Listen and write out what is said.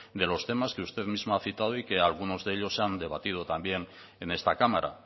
de los temas que usted mismo ha citado y que algunos de ellos se han debatido también en esta cámara